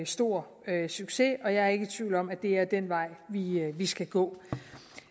stor succes og jeg er ikke i tvivl om at det er den vej vi skal gå